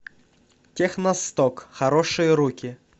техно сток хорошие руки